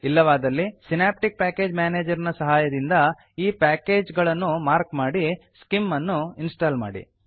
ಇಲ್ಲವಾದಲ್ಲಿ synaptic package manager ನ ಸಹಾಯದಿಂದ ಈ ಪ್ಯಾಕೇಜ್ ಗಳನ್ನು ಮಾರ್ಕ್ ಮಾಡಿ ಸ್ಕಿಮ್ ಅನ್ನು ಇನ್ಸ್ಟಾಲ್ ಮಾಡಿ